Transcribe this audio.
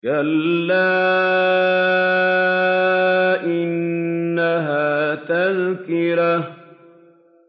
كَلَّا إِنَّهَا تَذْكِرَةٌ